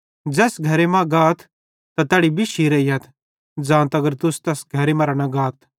ज़ैस घरे मां गाथ त तैड़ी बिश्शी रेइयथ ज़ां तगर तुस तैस नगरे मरां न गाथ